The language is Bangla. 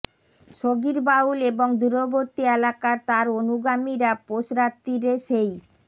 সগীর বাউল এবং দূরবর্তী এলাকার তার অনুগামীরা পৌষ রাত্তিরে সেই